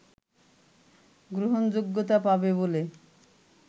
গ্রহণযোগ্যতা পাবে বলে